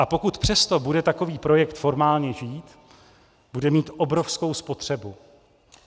A pokud přesto bude takový projekt formálně žít, bude mít obrovskou spotřebu.